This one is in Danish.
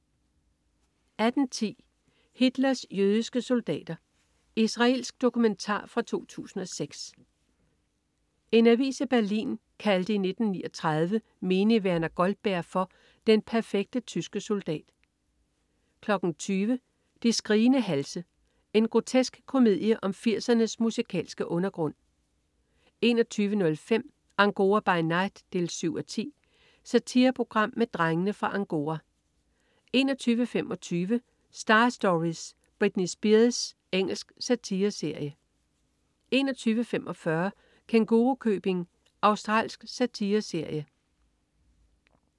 18.10 Hitlers jødiske soldater. Israelsk dokumentar fra 2006. En avis i Berlin kaldte i 1939 menig Werner Goldberg for "den perfekte tyske soldat" 20.00 De skrigende halse. En grotesk komedie om 80'ernes musikalske undergrund 21.05 Angora by night 7:10. Satireprogram med "Drengene fra Angora" 21.25 Star Stories: Britney Spears. Engelsk satireserie 21.45 Kængurukøbing. Australsk satireserie